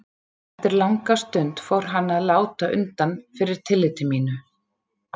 Eftir langa stund fór hann að láta undan fyrir tilliti mínu.